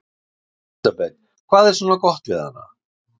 Elísabet: Hvað er svona gott við hana?